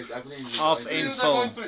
af en vul